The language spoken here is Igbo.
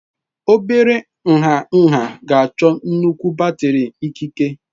Obere nha nha ga-achọ nnukwu batrị ikike.